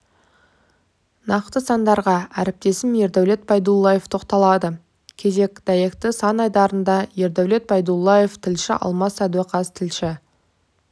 нақты сандарға әріптесім ердәулет байдуллаев тоқталады кезек дәйекті сан айдарында ердәулет байдуллаев тілші алмас сәдуақас тілші